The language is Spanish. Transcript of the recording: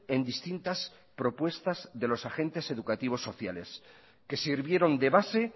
en distintas propuestas de los agentes educativos sociales que sirvieron de base